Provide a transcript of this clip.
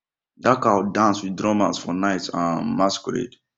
that cow dance with drummers for night um masquerade